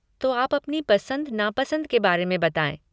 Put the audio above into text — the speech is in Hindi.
तो आप अपनी पसंद नापसंद के बारे में बताएँ।